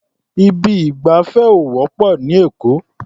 Ibi ìgbafẹ́ ò wọ́pọ̀ ní Èkó.